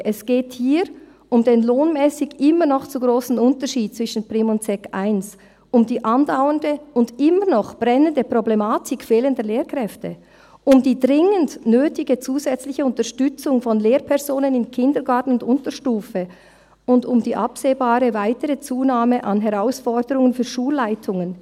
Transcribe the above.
Es geht hier um den lohnmässig immer noch zu grossen Unterschied zwischen Primarschule und Sekundarschule I, um die andauernde und immer noch brennende Problematik fehlender Lehrkräfte, um die dringend nötige zusätzliche Unterstützung von Lehrpersonen im Kindergarten und in der Unterstufe sowie um die absehbare weitere Zunahme an Herausforderungen für Schulleitungen.